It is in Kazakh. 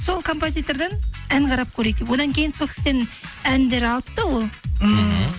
сол композитерден ән қарап көрейік деп одан кейін сол кісіден әндер алыпты ол ммм